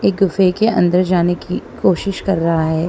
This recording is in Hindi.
एक गुफे के अंदर जाने की कोशिश कर रहा है।